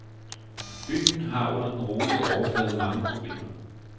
Byen har under den rolige overflade mange problemer.